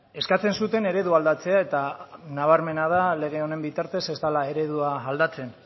eskatzen zuten eredua aldatzea eta nabarmena da lege honen bitartez ez dela eredua aldatzen